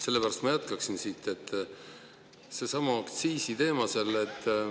Sellepärast ma jätkaksin siit sellelsamal aktsiisiteemal.